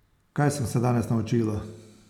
Kaj sem se danes naučila?